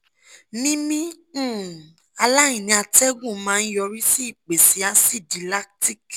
mímí um aláìní atẹ́gùn máa ń yọrí sí ìpèsè asidi lactic